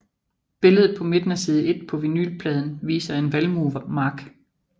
Billedet på midten af side 1 på vinylpladen viser en valmuemark